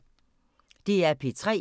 DR P3